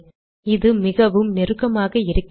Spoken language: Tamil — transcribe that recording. இது மிகவும் நெருக்கமாக இருக்கிறது